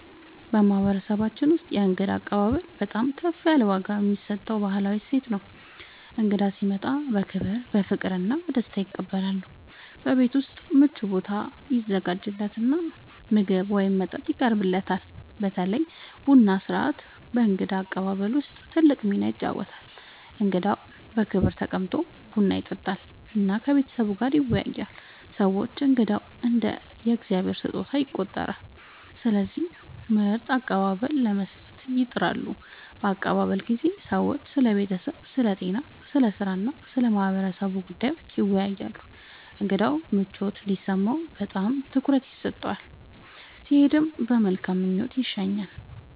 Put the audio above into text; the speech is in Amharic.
በማህበረሰባችን ውስጥ የእንግዳ አቀባበል በጣም ከፍ ያለ ዋጋ የሚሰጠው ባህላዊ እሴት ነው። እንግዳ ሲመጣ በክብር፣ በፍቅር እና በደስታ ይቀበላል፤ በቤት ውስጥ ምቹ ቦታ ይዘጋጃለት እና ምግብ ወይም መጠጥ ይቀርብለታል። በተለይ ቡና ሥርዓት በእንግዳ አቀባበል ውስጥ ትልቅ ሚና ይጫወታል፣ እንግዳው በክብር ተቀምጦ ቡና ይጠጣል እና ከቤተሰቡ ጋር ይወያያል። ሰዎች እንግዳን እንደ “የእግዚአብሔር ስጦታ” ይቆጥራሉ፣ ስለዚህ ምርጥ አቀባበል ለመስጠት ይጥራሉ። በአቀባበል ጊዜ ሰዎች ስለ ቤተሰብ፣ ስለ ጤና፣ ስለ ሥራ እና ስለ ማህበረሰቡ ጉዳዮች ይወያያሉ። እንግዳው ምቾት እንዲሰማው በጣም ትኩረት ይሰጣል፣ ሲሄድም በመልካም ምኞት ይሸኛል።